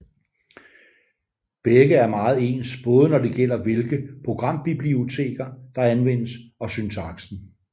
Begge er meget ens både når det gælder hvilke programbiblioteker der anvendes og syntaksen